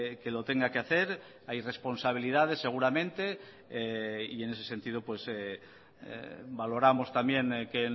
que lo tenga que hacer hay responsabilidades seguramente y en ese sentido valoramos también que